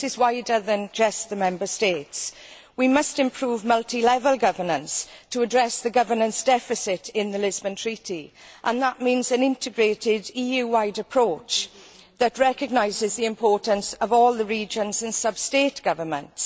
This issue goes wider than to just the Member States. We must improve multilevel governance to address the governance deficit in the Lisbon Treaty, and that means an integrated EU wide approach that recognises the importance of all the regions and substate governments.